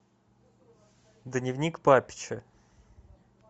дневник папича